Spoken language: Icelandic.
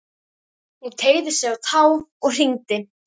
Hún teygði sig á tá og hringdi.